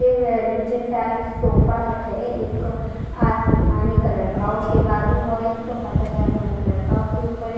नीचे side sofa set है एक आसमानी कलर का उसके बाजू और एक सोफा सेट है आसमानी कलर का उसके ऊपर ए--